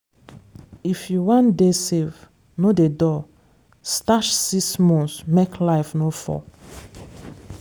if you wan dey safe no dey dull. stash six months make life no fall.